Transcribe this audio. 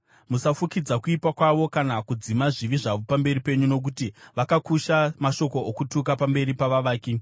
Musafukidza kuipa kwavo kana kudzima zvivi zvavo pamberi penyu, nokuti vakakusha mashoko okutuka pamberi pavavaki.